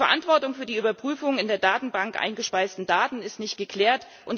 Die Verantwortung für die Überprüfung von in der Datenbank eingespeisten Daten ist nicht geklärt.